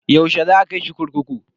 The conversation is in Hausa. Yaushe za a kai shi kurkuku?